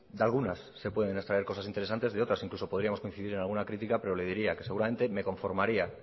de algunas se pueden extraer cosas interesantes de otras incluso podríamos coincidir en alguna crítica pero le diría que seguramente me conformaría